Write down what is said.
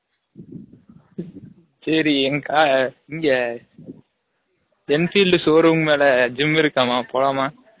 சரி எங்க இங்க enfield showroom மேல gym இருகாமா போலாமா